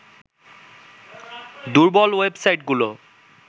দুর্বল ওয়েবসাইটগুলো